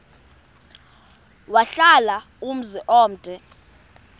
wahlala umzum omde